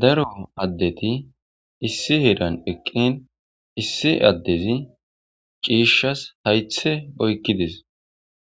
Daro addeti issi heeran eqi iisi adezi Cishad haythes Oykides